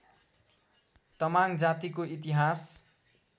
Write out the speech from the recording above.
तमाङ जातिको इतिहास